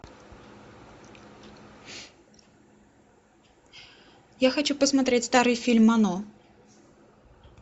я хочу посмотреть старый фильм оно